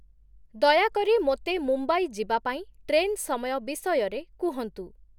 ଦୟାକରି ମୋତେ ମୁମ୍ବାଇ ଯିବା ପାଇଁ ଟ୍ରେନ୍ ସମୟ ବିଷୟରେ କୁହନ୍ତୁ |